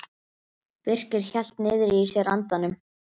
Birkir hélt niðri í sér andanum.